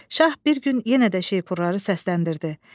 Şah bir gün yenə də şeypurları səsləndirdi.